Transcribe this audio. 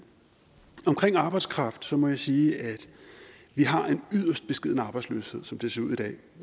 omkring arbejdskraft må jeg sige at vi har en yderst beskeden arbejdsløshed som det ser ud i dag